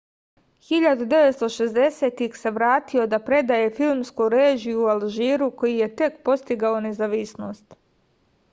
1960-ih se vratio da predaje filmsku režiju u alžiru koji je tek postigao nezavisnost